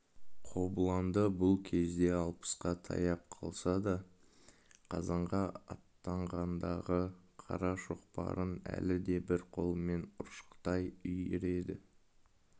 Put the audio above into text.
қобыланды бұл кезде алпысқа таяп қалса да қазанға аттанғандағы қара шоқпарын әлі де бір қолымен ұршықтай үйіреді